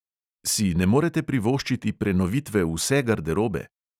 Si ne morete privoščiti prenovitve vse garderobe?